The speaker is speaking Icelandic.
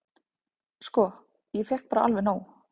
"""Sko, ég fékk bara alveg nóg."""